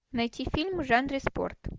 найти фильм в жанре спорт